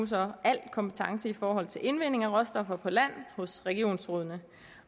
al kompetence i forhold til indvinding af råstoffer på land hos regionsrådene